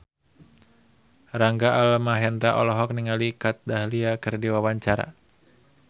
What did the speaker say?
Rangga Almahendra olohok ningali Kat Dahlia keur diwawancara